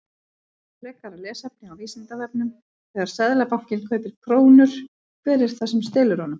Frekara lesefni á Vísindavefnum: Þegar Seðlabankinn kaupir krónur, hver er það sem selur honum?